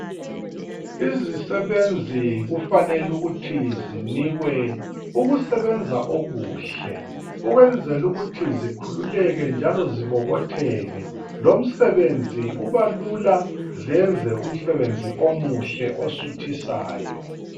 Izisebenzi kufanele ukuthi zinikwe ukusebenza okuhle ukwenzela ukuthi zikhululeke njalo zibobotheke, lomsebenzi uba lula zenze umsebenzi omuhle osuthisayo.